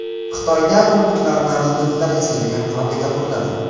Xitoyda robotlarni robotlar yasaydigan fabrika quriladi.